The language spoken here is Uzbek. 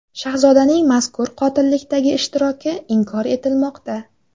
Shahzodaning mazkur qotillikdagi ishtiroki inkor etilmoqda.